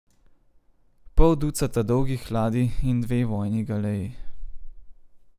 Pol ducata dolgih ladij in dve vojni galeji.